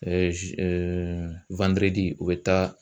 u bɛ taa